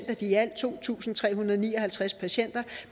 af de i alt to tusind tre hundrede og ni og halvtreds afdøde patienter